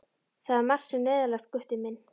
Það er margt sem er neyðarlegt, Gutti minn.